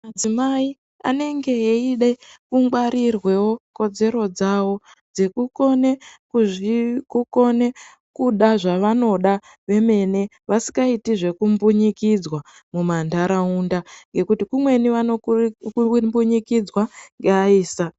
Madzimai anenge eide kungwarirwewo kodzero dzawo dzekukone kukone kuda zvavanoda vemene vasikaiti zvekumbunyikidzwa mumantaraunda ngekuti kumweni vanombunyikidzwa ngeayisa.